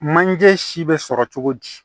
Manje si bɛ sɔrɔ cogo di